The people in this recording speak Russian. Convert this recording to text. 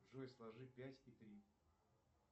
джой сложи пять и три